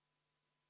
Mart Maastik, palun!